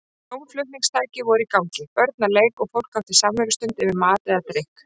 Hljómflutningstæki voru í gangi, börn að leik og fólk átti samverustund yfir mat eða drykk.